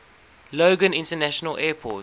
logan international airport